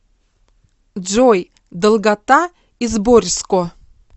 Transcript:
джой долгота изборьско